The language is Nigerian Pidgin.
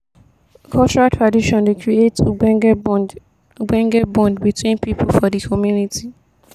cultural tradition dey create ogbonge bond ogbonge bond between pipo for di community.